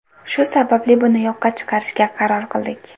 Shu sababli buni yo‘qqa chiqarishga qaror qildik.